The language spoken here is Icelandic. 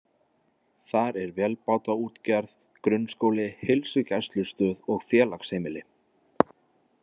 Þar er vélbátaútgerð, grunnskóli, heilsugæslustöð og félagsheimili.